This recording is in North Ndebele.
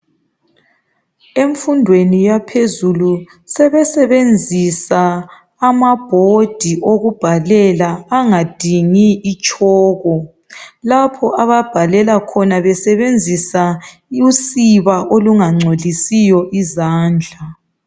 Emfundweni yaphezulu sebesebenzisa amabhodi okubhalela angadingi itshoko. Lapho ababhalela khona besebenzisa usiba olungangcolisiyo izandla.